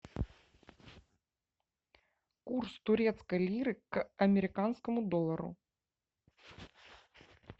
курс турецкой лиры к американскому доллару